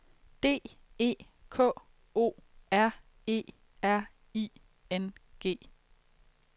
D E K O R E R I N G